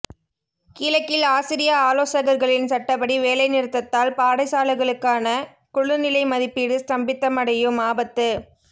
கிழக்கில் ஆசிரிய ஆலோசகர்களின் சட்டப்படி வேலை நிறுத்தத்தால் பாடசாலைகளுக்கான குழுநிலைமதிப்பீடு ஸ்தம்பிதமடையும் ஆபத்து